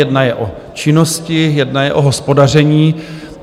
Jedna je o činnosti, jedna je o hospodaření.